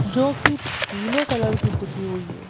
जोकि पीले कलर की पूती हुई है।